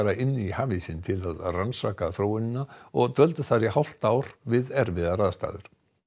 inn í hafísinn til að rannsaka þróunina og dvöldu þar í hálft ár við erfiðar aðstæður